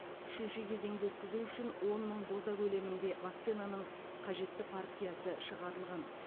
үшінші кезеңді өткізу үшін он мың доза көлемінде вакцинаның қажетті партиясы шығарылған